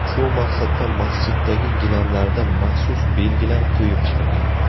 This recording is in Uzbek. Shu maqsadda masjiddagi gilamlarda maxsus belgilar qo‘yib chiqilgan.